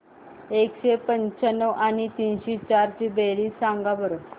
एकशे पंच्याण्णव आणि तीनशे चार ची बेरीज सांगा बरं